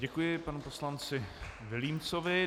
Děkuji panu poslanci Vilímcovi.